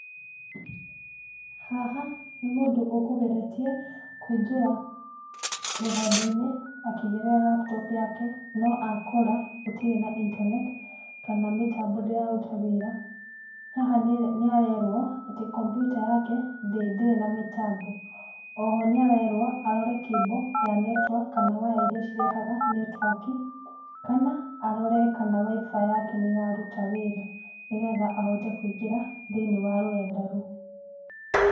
Haha nĩ mũndũ ũkũgeretie kũingĩra rũrendainĩ akĩgerera laptop yake no akora gũtirĩ na internet kana mĩtambo ndĩraruta wĩra. Haha nĩarerwo atĩ kompiyuta yake ndĩrĩ na mĩtambo. Oho nĩarerwo arore cable ya network kana waya iria cirehaga netiwaki, kana arore kana wifi yake nĩraruta wĩra nĩgetha ahote kũingĩra thĩinĩ wa rũrenda rũu.